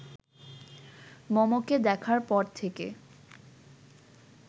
মমকে দেখার পর থেকে